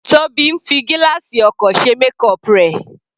Tobi ń fi gílààsì ọkọ̀ ṣe makeup rẹ̀.